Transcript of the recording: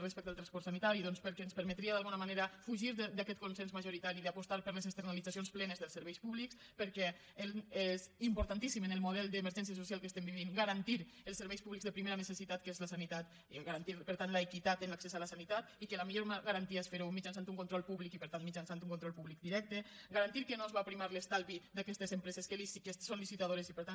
respecte al transport sanitari doncs perquè ens permetria d’alguna manera fugir d’aquest consens majoritari d’apostar per les externalitzacions plenes dels serveis públics perquè és importantíssim en el model d’emergència social que estem vivint garantir els serveis públics de primera necessitat que és la sanitat i garantir per tant l’equitat en l’accés a la sanitat i que la millor garantia és fer ho mitjançant un control públic i per tant mitjançant un control públic directe garantir que no es va a primar l’estalvi d’aquestes empreses que són licitadores i per tant